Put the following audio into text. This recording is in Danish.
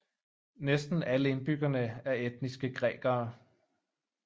Næsten alle indbyggerne er etniske grækere